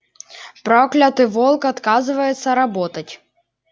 проклятый волк отказывается работать